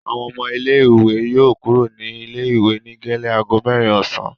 Àwọn ọmọ ilé-ìwé yóò kúrò ní ilé-ìwé ní gẹ́lẹ́ ago mẹ́rin ọ̀sán.